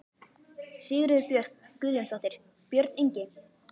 Sigríður Björk Guðjónsdóttir: Björn Ingi?